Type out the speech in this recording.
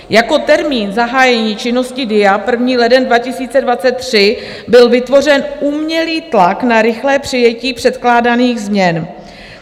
Jako termín zahájení činnosti DIA, 1. leden 2023, byl vytvořen umělý tlak na rychlé přijetí předkládaných změn.